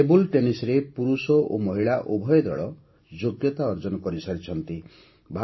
table ଟେନିସ୍ରେ ପୁରୁଷ ଓ ମହିଳା ଉଭୟ ଦଳ ଯୋଗ୍ୟତା ଅର୍ଜନ କରିସାରିଛନ୍ତି